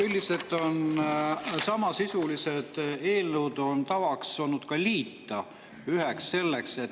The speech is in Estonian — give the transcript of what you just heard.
Üldiselt on olnud tavaks samasisulised eelnõud liita üheks.